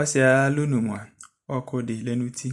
ɔsiɛ ayalɔnu mua ɔku di lɛ nu uti